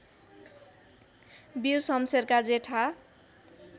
वीर शमशेरका जेठा